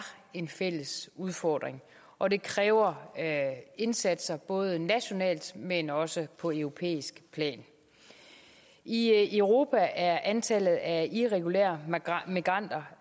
en fælles udfordring og det kræver indsatser både nationalt men også på europæisk plan i europa er antallet af irregulære migranter